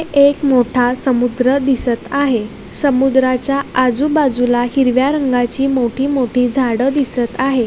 एक मोठा समुद्र दिसत आहे समुद्राच्या आजूबाजूला हिरव्या रंगाची मोठी मोठी झाड दिसत आहे.